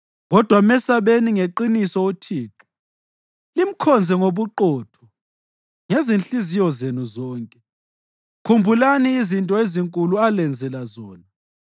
Kodwa mesabeni ngeqiniso uThixo, limkhonze ngobuqotho ngezinhliziyo zenu zonke. Khumbulani izinto ezinkulu alenzela zona.